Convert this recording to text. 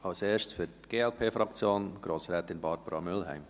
Als Erstes, für die Glp-Fraktion, Grossrätin Barbara Mühlheim.